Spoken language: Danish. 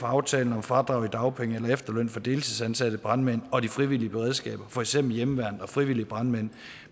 aftalen om fradrag i dagpenge eller efterløn for deltidsansatte brandmænd og de frivillige beredskaber for eksempel hjemmeværnet og frivillige brandmænd